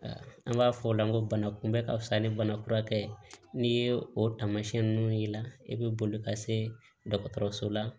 An b'a fɔ o la ko bana kunbɛ ka fisa ni bana furakɛ ye n'i ye o tamasiyɛn nunnu y'i la i be boli ka se dɔgɔtɔrɔso la